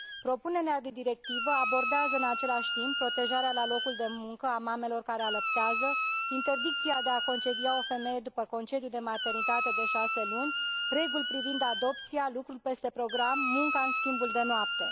Propunerea de directivă abordează în același timp protejarea la locul de muncă a mamelor care alăptează, interdicția de a concedia o femeie după concediul de maternitate de șase luni, reguli privind adopția, lucrul peste program, munca în schimbul de noapte.